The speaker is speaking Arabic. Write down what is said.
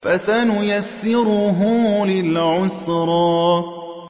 فَسَنُيَسِّرُهُ لِلْعُسْرَىٰ